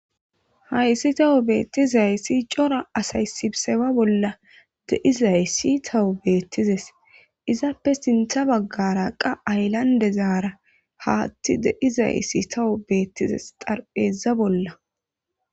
Hayssi tawo beettizayssi cora asay sibseba bolla deyizay si tawo beettizes izaappe sintha baggara qa hayllande zaara haatti deyizaysi tawu beettizes xarpheeza bolla.